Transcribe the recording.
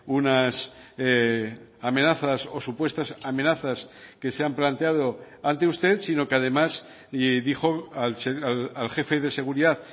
unas amenazas o supuestas amenazas que se han planteado ante usted sino que además y dijo al jefe de seguridad